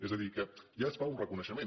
és a dir que ja es fa un reconeixement